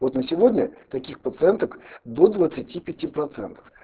вот на сегодня таких пациенток до двадцати пяти процентов